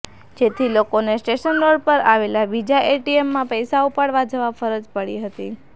જેથી લોકોને station road પર આવેલા બીજા એટીએમમાં પૈસા ઉપાડવા જવા ફરજ પડી હતી